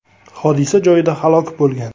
hodisa joyida halok bo‘lgan.